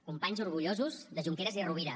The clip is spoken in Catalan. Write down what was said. companys orgullosos de junqueras i rovira